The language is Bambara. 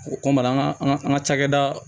O kɔmi an ka an ka an ka cakɛda